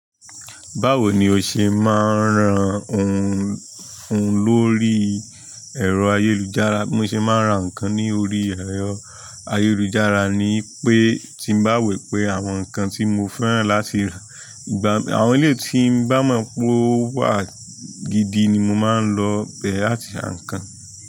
Báwo ni ó ṣe máa ń ran ohun, ohun lórí ẹ̀rọ ayélujára? Bí mo ṣe máa ń ra nǹkan ní orí ẹ̀rọ ayélujára ni pé tí n bá wẹ̀ pé àwọn nǹkan tí mo fẹ́ràn láti rà ìgbà, àwọn ilé tí mo bá mọ̀ pé wà gidi ni mo máa ń lọ bẹ̀rẹ̀ láti a nǹkan.